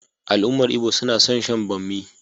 Al'ummar Igbo suna son shan bommi.